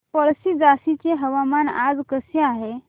पळशी झाशीचे हवामान आज कसे आहे